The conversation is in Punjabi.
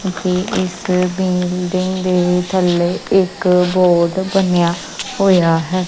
ਯੇ ਕੋਈ ਇਸ ਬਿਲਡਿੰਗ ਦੇ ਥੱਲੇ ਇੱਕ ਬੋਰਡ ਬਣਿਆ ਹੋਇਆ ਹੈ।